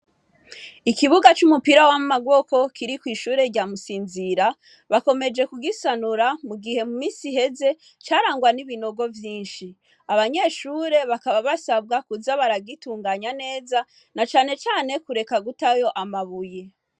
Ikibuga c'umupira w'amaboko kiri kw'ishure rya musinzira bakomeje kugisanura mu gihe mu misi iheze carangwa n'ibinogo vyinshi abanyeshure bakaba basabwa kuza baragitunganya neza na canecane kureka gutayo amabuye.